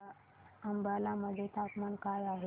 अंबाला मध्ये तापमान काय आहे